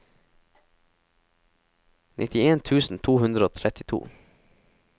nittien tusen to hundre og trettito